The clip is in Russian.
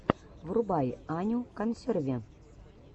врубай аню консерви